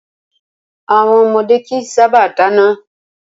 Àwọn ọmọdé kìí sábà dáná.